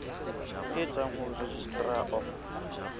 e tswang ho registrar of